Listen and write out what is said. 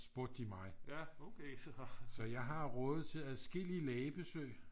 spurgte de mig så jeg har rådet til adskillige lægebesøg